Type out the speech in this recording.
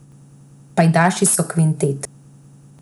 Pajdaši so kvintet.